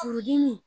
Furudimi